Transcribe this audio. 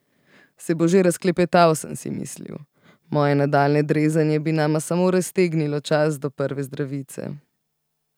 Se bo že razklepetal, sem si mislil, moje nadaljnje drezanje bi nama samo raztegnilo čas do prve zdravice.